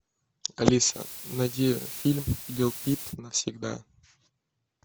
алиса найди фильм лил пип навсегда